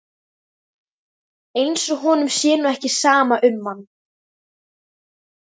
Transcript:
Eins og honum sé nú ekki sama um mann!